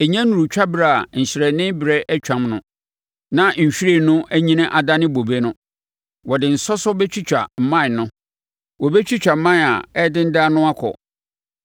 Ɛnnya nnuruu twaberɛ a nhyerɛnne berɛ atwam no, na nhwiren no anyini adane bobe no, wɔde nsɔsɔ bɛtwitwa mman no; wɔbɛtwitwa mman a ɛredendan no akɔ.